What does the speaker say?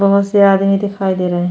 बहुत से आदमी दिखाई दे रहे हैं।